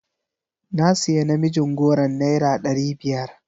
Na siya namijin goron naira ɗari biyar.